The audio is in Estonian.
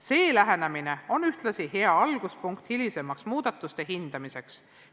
Selline lähenemine on ühtlasi hea alguspunkt hilisemaks muudatuste hindamiseks.